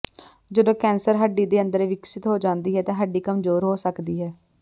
ਜਦੋਂ ਕੈਂਸਰ ਹੱਡੀ ਦੇ ਅੰਦਰ ਵਿਕਸਤ ਹੋ ਜਾਂਦੀ ਹੈ ਤਾਂ ਹੱਡੀ ਕਮਜ਼ੋਰ ਹੋ ਸਕਦੀ ਹੈ